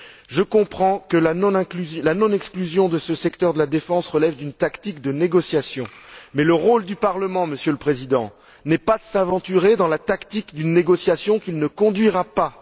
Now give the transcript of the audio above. Je comprends que la non exclusion de ce secteur de la défense relève d'une tactique de négociation, mais le rôle du Parlement, Monsieur le Président, n'est pas de s'aventurer dans la tactique d'une négociation qu'il ne conduira pas.